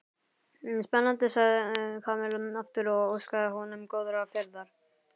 Spennandi sagði Kamilla aftur og óskaði honum góðrar ferðar.